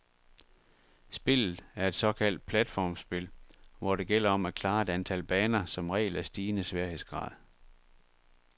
Spillet er et såkaldt platformspil, hvor det gælder om at klare et antal baner, som regel af stigende sværhedsgrad.